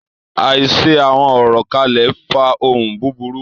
Àìṣe àwọn orò kán le fa ohun búburú.